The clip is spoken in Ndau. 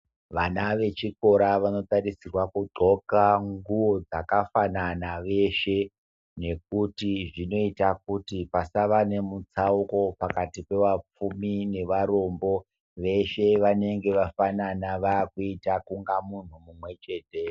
Vana ve chikora vano tarisirwa ku ndxoka nguwo dzaka fanana veshe nekuti zvinoita kuti pasava nemu tsauko pakati pe vapfumi ne varombo veshe vanenge vafanana vakuita kunga munhu mumwe chete.